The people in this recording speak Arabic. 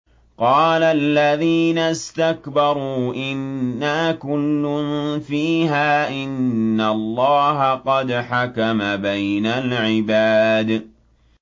قَالَ الَّذِينَ اسْتَكْبَرُوا إِنَّا كُلٌّ فِيهَا إِنَّ اللَّهَ قَدْ حَكَمَ بَيْنَ الْعِبَادِ